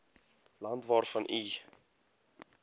land waarvan u